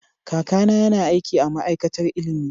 Kakana yana aiki a ma'aikatar ilimi.